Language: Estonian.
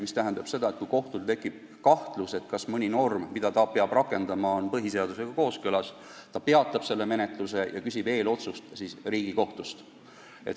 See tähendab seda, et kui kohtul tekib kahtlus, kas mõni norm, mida ta peab rakendama, on põhiseadusega kooskõlas, siis ta peatab menetluse ja küsib Riigikohtult eelotsust.